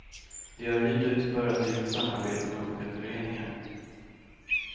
Vi har hyrt ut för att vi vill samarbeta med olika föreningar.